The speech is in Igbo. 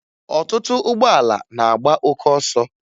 Ọtụtụ ụgbọala na-agba oke ọsọ